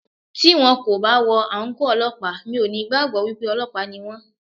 Tí wón kò bá wọ àǹkóò Ọlọ́pàá, mi ò ní gbàgbọ́ wípé Ọlọ́pàá ni wón.